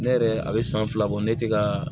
Ne yɛrɛ a bɛ san fila bɔ ne tɛ ka